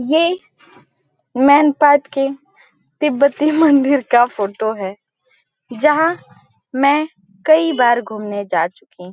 ये मैनपाट के तिब्बतीय मंदिर का फोटो है जहां मैं कई बार घूमने जा चुकी हूं ।